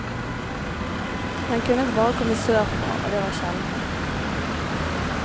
Den kunne bare komme sørfra, og det var sjelden.